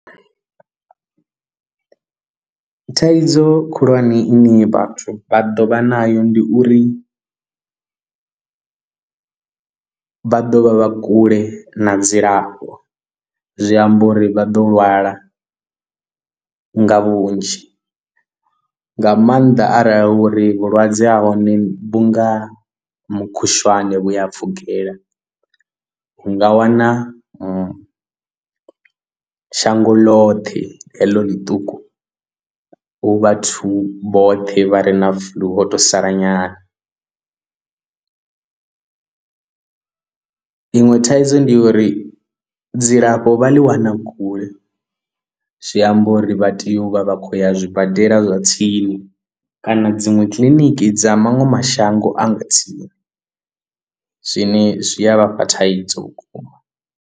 Thaidzo khulwane ine vhathu vha ḓo vha nayo ndi uri vha ḓo vha vha kule na dzilafho zwi amba uri vha ḓo lwala nga vhunzhi nga maanḓa arali uri vhulwadze ha hone vhu nga mukhushwane vhu a pfukela u nga wana shango ḽoṱhe heḽo ḽiṱuku hu vhathu vhoṱhe vha re na flu vho to sala nyana iṅwe thaidzo ndi ya uri dzilafho vha ḽi wana kule zwi amba uri vha tea u vha vha khou ya zwibadela zwa tsini kana dziṅwe kiliniki dza maṅwe mashango anga tsini zwine zwi a vha fha thaidzo vhukuma.